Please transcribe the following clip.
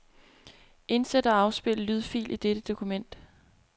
Indsæt og afspil lydfil i dette dokument.